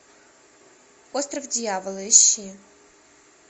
остров дьявола ищи